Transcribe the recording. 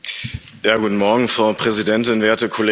Frau Präsidentin, werte Kolleginnen und Kollegen!